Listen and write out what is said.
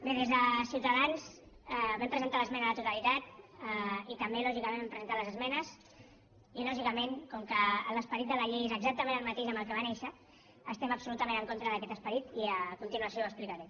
bé des de ciutadans vam presentar l’esmena a la totalitat i també lògicament vam presentar les esmenes i lògicament com que l’esperit de la llei és exactament el mateix amb el que va néixer estem absolutament en contra d’aquest esperit i a continuació ho explicaré